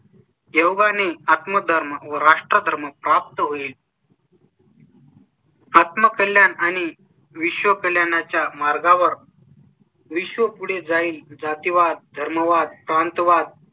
योगाने आत्म धर्म व राष्ट्र धर्म प्राप्त होईल . आत्मकल्याण आणि विश्वकल्याणाच्या मार्गावर. विश्व पुढे जाईल जातीवाद, धर्मवाद, प्रांतवाद,